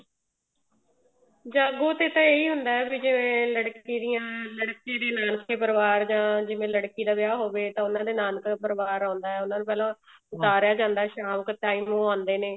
ਜਾਗੋ ਤੇ ਤਾਂ ਇਹੀ ਹੁੰਦਾ ਹੈ ਵੀ ਜਿਵੇਂ ਲੜਕੀ ਦੇ ਨਾਨਕਾ ਪਰਿਵਾਰ ਜਾ ਜਿਵੇਂ ਲੜਕੀ ਦਾ ਵਿਆਹ ਹੋਵੇ ਤਾਂ ਉਹਨਾਂ ਦਾ ਨਾਨਕਾ ਪਰਿਵਾਰ ਆਉਂਦਾ ਹੈ ਉਹਨਾ ਨੂੰ ਪਹਿਲਾ ਉਤਾਰਿਆ ਜਾਂਦਾ ਸ਼ਾਮ ਦੇ time ਉਹ ਆਉਂਦੇ ਨੇ